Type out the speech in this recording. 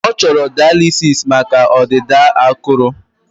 Ọ chọrọ daalisịs maka ọdịda akụrụ